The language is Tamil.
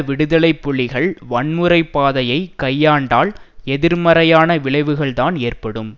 விடுதலை புலிகள் வன்முறை பாதையை கையாண்டால் எதிர்மறையான விளைவுகள்தான் ஏற்படும்